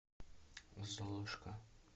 золушка